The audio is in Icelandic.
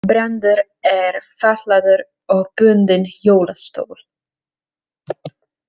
Brandur er fatlaður og bundinn hjólastól.